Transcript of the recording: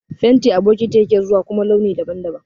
Fenti a bokiti yake zuwa a kuma launi daban-daban.